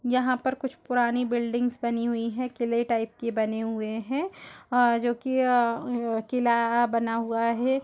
यहां पर कुछ पुरानी बिल्डिंग्स बनी हुई हैं। किले टाइप के बने हुए हैं। आ जो कि आ किला बना हुआ है।